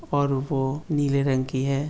और वो नीले रंग की है।